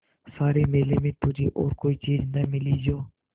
सारे मेले में तुझे और कोई चीज़ न मिली जो